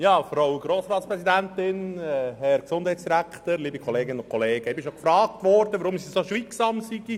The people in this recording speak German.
Ich wurde gefragt, weshalb ich während dieser Session so schweigsam sei.